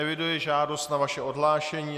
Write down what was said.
Eviduji žádost na vaše odhlášení.